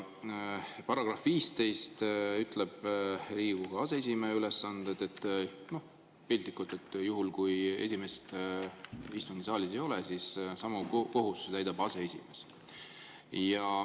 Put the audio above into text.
Paragrahv 15 "Riigikogu aseesimehe ülesanded" ütleb, piltlikult, et juhul kui esimeest istungisaalis ei ole, siis samu kohustusi täidab aseesimees.